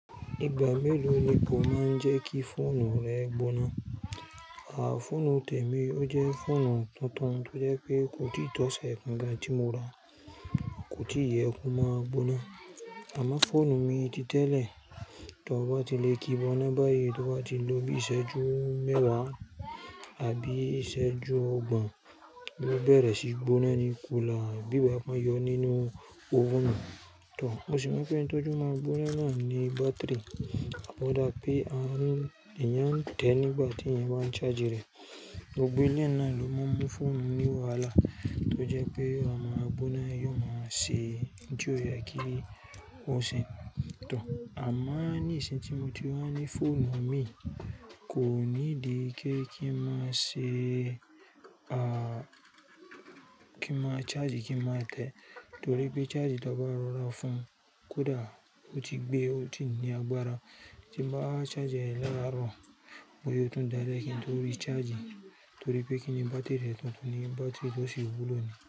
Ìgbà mélòó ni kó máa ń jẹ́ kí fóònù rẹ gbóná? Fóònù tèmi ó jẹ́ fóònù tuntun tó jẹ́ pé kò tí ì tọ́ oṣẹ kan gàn tí mo ra, kò tí ì yẹ kó máa gbóná. Àmá fóònù mi ti tẹ́lẹ̀ tó bá ti lè kí gbóná báyìí tó bá ti ló bí iṣẹ́jú mẹ́wàá àbí iṣẹ́jú ọgbọ̀n, yó bẹ̀rẹ̀ sí gbóná ní kúlà bí gba pé won yọ nínú òven nu. Tò, mo sì mọ̀ pé ohun tó jẹ́ ó má gbóná náà ni bátìrì. Ó dá pé a ń, eyàn tè nígbà tí èyàn bá ń charge rẹ̀. Gbogbo eleyi na ló máa ń mú fóònù ni wàhálà tó jẹ́ pé a máa gbóná yóò máa ṣe ohun ti o yẹ kí ó ṣe. Tò, àmọ́ ní ìṣìn tí mo ti wá ní fóònù mi kò ní ìdí pe kí n má ṣe, kí má charge kí n má tẹ́ torí pé charge ti n bá rọra fún kódà ó ti gbé ó ti ní agbára. Tí n bá charge rẹ̀ lárọ̀, bóyá ó tún dalẹ kí n torí charge torí pé kí ni bátìrì rẹ̀ tuntun ni bátìrì tò sí wúlò ni.